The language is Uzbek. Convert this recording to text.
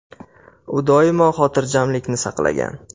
U – doimo xotirjamlikni saqlagan.